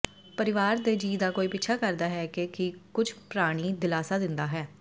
ਪਰਿਵਾਰ ਦੇ ਜੀਅ ਦਾ ਕੋਈ ਪਿੱਛਾ ਕਰਦਾ ਹੈ ਕਿ ਕੀ ਕੁਝ ਪ੍ਰਾਣੀ ਦਿਲਾਸਾ ਦਿੰਦਾ ਹੈ